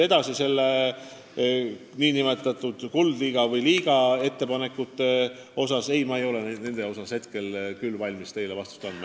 Mis puutub Kuldliiga ettepanekutesse, siis nende kohta ma ei ole küll valmis teile vastust andma.